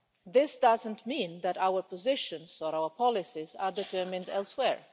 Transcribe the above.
This doesn't mean that our positions or our policies are determined elsewhere.